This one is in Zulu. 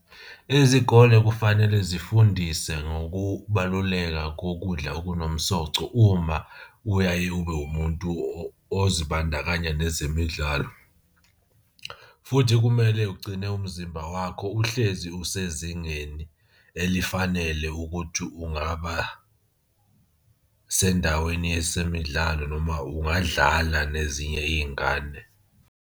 Izikole kufanele zifundise ngokubaluleka kokudla okunomsoco uma uyaye ube umuntu ozibandakanya nezemidlalo, futhi kumele ugcine umzimba wakho uhlezi usezingeni elifanele ukuthi ungaba sendaweni yezemidlalo noma ungadlala nezinye iy'ngane.